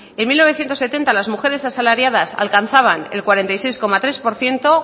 en mil novecientos setenta las mujeres asalariadas alcanzaban el cuarenta y seis coma tres por ciento